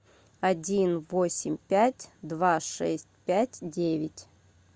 один восемь пять два шесть пять девять